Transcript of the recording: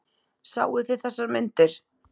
Sáuð þið þessar myndir?